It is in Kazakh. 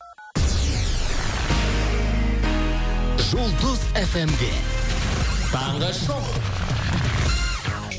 жұлдыз эф эм де таңғы шоу